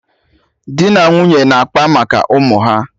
Dị na nwunye na-akpa maka ụmụ ha